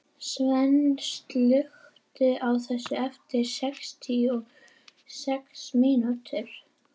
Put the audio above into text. Sveinn, slökktu á þessu eftir sextíu og sex mínútur.